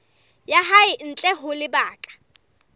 ya hae ntle ho lebaka